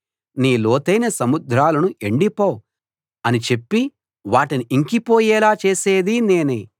నీ లోతైన సముద్రాలను ఎండిపో అని చెప్పి వాటిని ఇంకిపోయేలా చేసేది నేనే